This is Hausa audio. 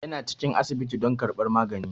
Yana cikin asibiti don karɓar magani.